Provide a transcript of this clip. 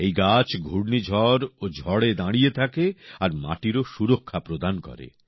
এই গাছ ঘূর্নিঝড় ও ঝড়ে দাঁড়িয়ে থাকে আর মাটিরও সুরক্ষা প্রদান করে